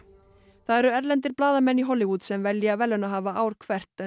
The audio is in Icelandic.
það eru erlendir blaðamenn í Hollywood sem velja verðlaunahafa ár hvert en